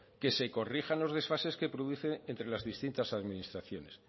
que se corrijan los desfases que produce entra las distintas administraciones